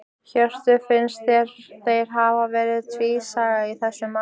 Hjörtur: Finnst þér þeir hafi verið tvísaga í þessu máli?